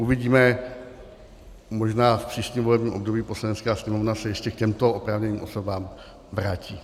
Uvidíme, možná v příštím volebním období Poslanecká sněmovna se ještě k těmto oprávněným osobám vrátí.